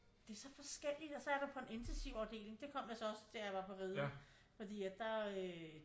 Det er så forskelligt og så er du på en intensivafdeling det kom jeg så også da jeg var på Riget fordi at der øh